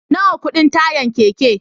Nawa kudin tayan keke